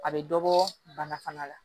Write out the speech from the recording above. A bɛ dɔ bɔ bana fana la